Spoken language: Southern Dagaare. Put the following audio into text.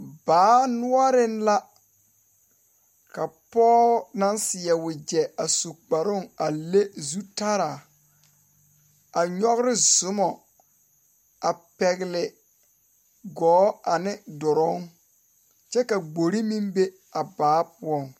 Dokogro naŋ biŋ nugɔɔ ane nudoloŋ ka pɛn ayi kyuɔɔ wa sige teɛ a waa buluu ka a daŋkyine waa pilaa ka fotore a mare.